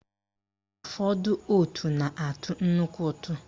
Ụfọdụ òtù na-atụ nnukwu ụtụ